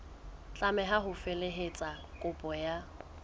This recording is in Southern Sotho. tlameha ho felehetsa kopo ka